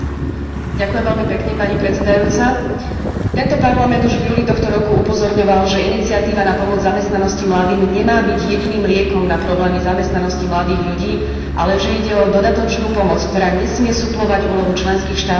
Tento parlament už v júli tohto roku upozorňoval, že iniciatíva na pomoc zamestnanosti mladým nemá byť jediným liekom na problémy zamestnanosti mladých ľudí, ale že ide o dodatočnú pomoc, ktorá nesmie suplovať úlohu členských štátov a ich vlastnú zodpovednosť pri riešení problémov mladých.